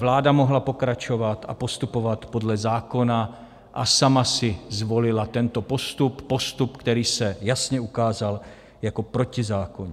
Vláda mohla pokračovat a postupovat podle zákona, a sama si zvolila tento postup, postup, který se jasně ukázal jako protizákonný.